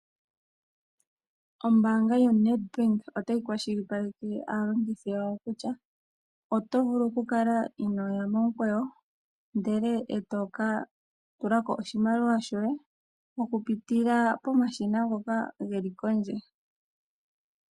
Ombanga yoNedbank otayi kwashilipaleke aalongithi yawo kutya oto vulu ku kala inoya momukweyo ndele eto ka tulako oshimaliwa shoye oku pitila pomashina ngoka geli pondje.